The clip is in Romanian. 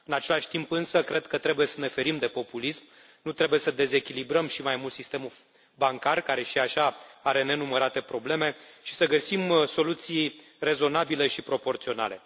În același timp însă cred că trebuie să ne ferim de populism, nu trebuie să dezechilibrăm și mai mult sistemul bancar, care și așa are nenumărate probleme și să găsim soluții rezonabile și proporționale.